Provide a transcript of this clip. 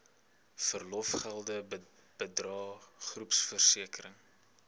verlofgelde bydrae groepversekering